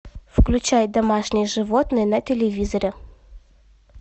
включай домашние животные на телевизоре